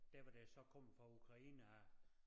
Dér hvor det så kommer fra Ukraine af